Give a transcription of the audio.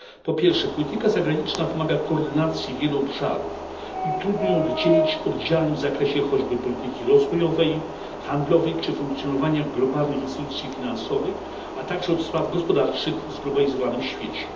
Po pierwsze, polityka zagraniczna wymaga koordynacji wielu obszarów i trudno jest ją oddzielić od działań w zakresie choćby polityki rozwojowej, handlowej czy funkcjonowania globalnych instytucji finansowych, a także od spraw gospodarczych w zglobalizowanym świecie.